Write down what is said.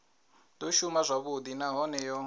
do shuma zwavhudi nahone yo